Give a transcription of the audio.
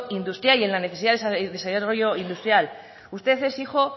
industrial y en las necesidades de desarrollo industrial usted es hijo